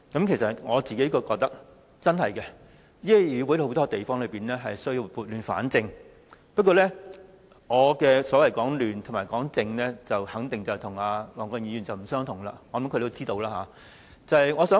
其實，我認為這議會確實有很多地方需要撥亂反正，但我所謂的"亂"和"正"，肯定與黃國健議員所說的不同，相信他也知道。